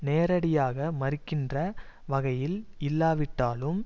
நேரடியாக மறுக்கின்ற வகையில் இல்லாவிட்டாலும்